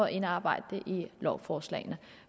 indarbejdet i lovforslaget